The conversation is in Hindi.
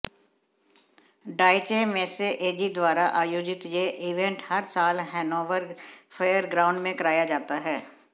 डॉयचे मेसे एजी द्वारा आयोजित यह इवेंट हर साल हैनोवर फेयरग्राउंड में कराया जाता है